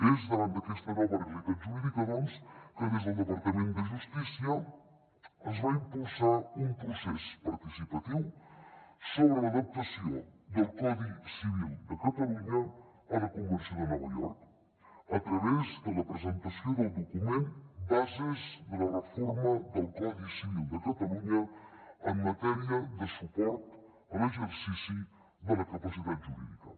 és davant d’aquesta nova realitat jurídica doncs que des del departament de justícia es va impulsar un procés participatiu sobre l’adaptació del codi civil de catalunya a la convenció de nova york a través de la presentació del document bases de la reforma del codi civil de catalunya en matèria de suport a l’exercici de la capacitat jurídica